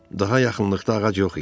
Daha yaxınlıqda ağac yox idi.